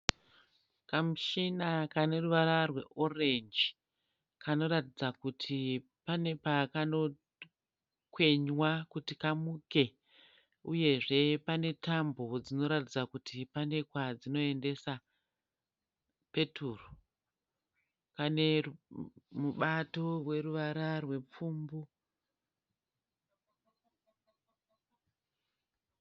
Kamuchina kane ruvara rweorenji kanoratidza kuti pane pakano kwenywa kuti kamuke uyezve pane tambo dzinoratidza kuti pane kwadzinoendesa peturu kane mubato weruvara rwepfumbu.